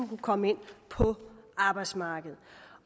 kunne komme ind på arbejdsmarkedet